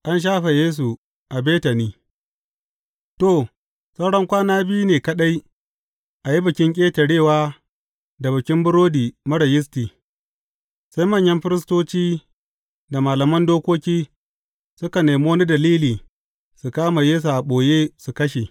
An shafe Yesu a Betani To, saura kwana biyu ne kaɗai a yi Bikin Ƙetarewa da Bikin Burodi Marar Yisti, sai manyan firistoci da malaman dokoki, suka nemi wani dalili su kama Yesu a ɓoye, su kashe.